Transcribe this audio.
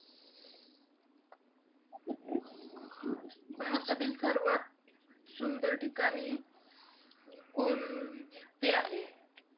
भारतातील सर्वात सुंदर ठिकाणे कोणते आहेत?